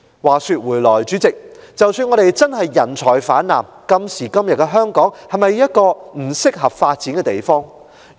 話說回來，主席，即使我們確是人才泛濫，但今時今日的香港是否一個適合發展的地方？